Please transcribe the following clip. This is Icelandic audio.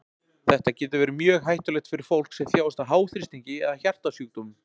þetta getur verið mjög hættulegt fyrir fólk sem þjáist af háþrýstingi eða hjartasjúkdómum